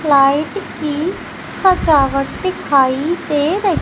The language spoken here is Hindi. लाइट की सजावट दिखाई दे र--